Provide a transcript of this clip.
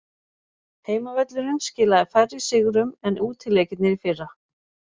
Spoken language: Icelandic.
Heimavöllurinn skilaði færri sigrum en útileikirnir í fyrra.